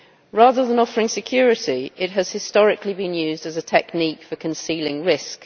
Rather than offering security, it has historically been used as a technique for concealing risk.